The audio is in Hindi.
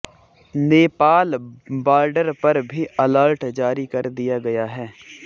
नेपाल बर्डर पर भी अलर्ट जारी कर दिया गया है